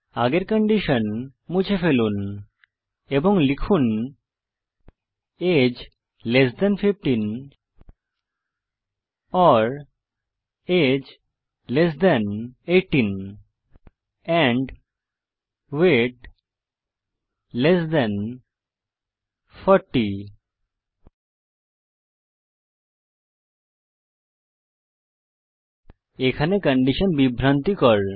আগের কন্ডিশন মুছে ফেলুন এবং লিখুন age less than 15 or age less than 18 and weight less than 40 এখানে কন্ডিশন বিভ্রান্তিকর